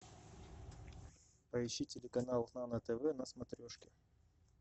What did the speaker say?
поищи телеканал нано тв на смотрешке